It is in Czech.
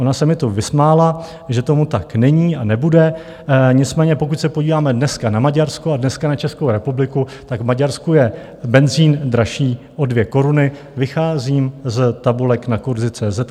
Ona se mi tu vysmála, že tomu tak není a nebude, nicméně pokud se podíváme dneska na Maďarsko a dneska na Českou republiku, tak v Maďarsku je benzín dražší o 2 koruny, vycházím z tabulek na kurzy.cz